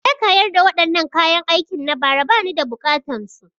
Je ka yarda wadannaan kayan aikin na bara ba ni da buƙatan su!